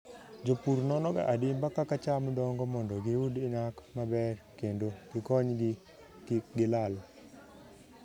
Jopur nonoga adimba kaka cham dongo mondo giyud nyak maber kendo gikonygi kik gilal.